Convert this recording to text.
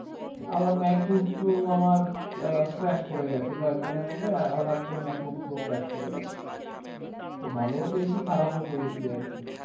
আবার mak book pro আমার crash করে গেছে হটাৎ করে crash করা গেল